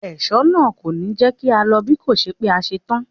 Ẹ̀ṣọ́ náà kò ní jẹ́ kí á lọ bíkòṣe pé a ṣe tán.